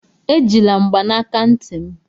Ejila mgbanaka ntị m!